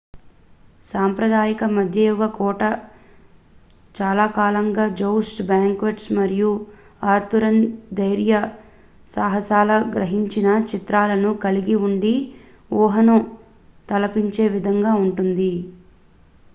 సాంప్రదాయిక మధ్యయుగ కోట చాలాకాలంగా jousts banquets మరియు arthurian ధైర్యసాహసాల గురించిన చిత్రాలను కలిగి ఉండి ఊహను తలిపించే విధంగా ఉంటుంది